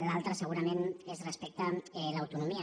l’altra segurament és respecte a l’autonomia